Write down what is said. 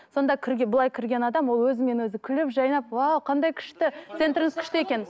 сонда былай кірген адам ол өзімен өзі күліп жайнап уау қандай күшті центріңіз күшті екен